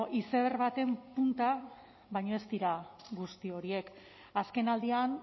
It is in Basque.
izeberg baten punta baino ez dira guzti horiek azkenaldian